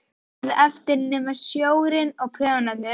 Ekkert varð eftir nema sjórinn og prjónarnir.